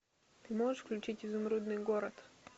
ты можешь включить изумрудный город